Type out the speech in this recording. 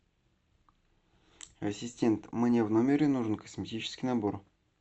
ассистент мне в номере нужен косметический набор